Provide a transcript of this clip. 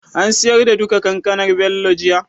an siyar da duka Kankanar Bello jiya?